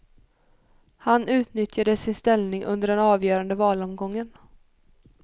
Han utnyttjade sin ställning under den avgörande valomgången.